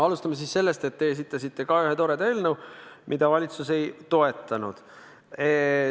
Alustame siis sellest, et te esitasite ühe toreda eelnõu, mida valitsus ei toetanud.